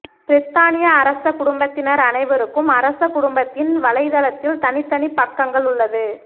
பிரித்தானிய அரச குடும்பத்தினர் அனைவருக்கும் அரச குடும்பத்தின் வலைதளத்தில் தனித்தனி பக்கங்கள் உள்ளது